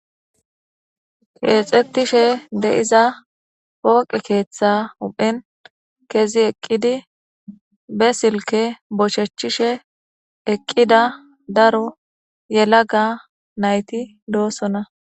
Keexettishe de7iza pooqe keeththa uphen kezi eqqidi be silke bocshechishe eqqida daro yela ga nayti doossona